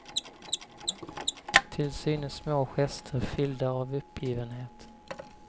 Till synes små gester, fyllda av uppgivenhet.